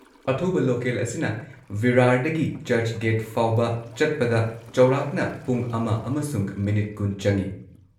ꯑꯊꯨꯕ ꯂꯣꯀꯦꯜ ꯑꯁꯤꯅ ꯚꯤꯔꯥꯔꯗꯒꯤ ꯆꯔꯆꯒꯦꯠ ꯐꯥꯎꯕ ꯆꯠꯄꯗ ꯆꯧꯔꯥꯛꯅ ꯄꯨꯡ ꯑꯃ ꯑꯃꯁꯨꯡ ꯃꯤꯅꯤꯠ ꯲꯰ ꯆꯪꯏ꯫